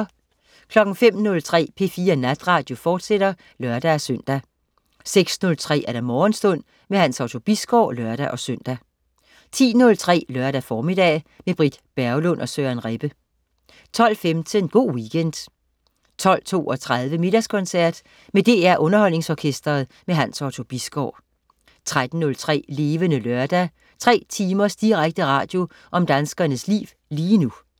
05.03 P4 Natradio, fortsat (lør-søn) 06.03 Morgenstund. Hans Otto Bisgaard (lør-søn) 10.03 Lørdag formiddag. Med Britt Berglund og Søren Rebbe 12.15 Go' Weekend 12.32 Middagskoncert. Med DR Underholdningsorkestret. Hans Otto Bisgaard 13.03 Levende Lørdag. 3 timers direkte radio om danskernes liv lige nu